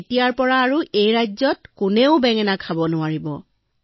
এতিয়াৰে পৰা এই ৰাজ্যত কোনেও বেঙেনা খাব নোৱাৰিব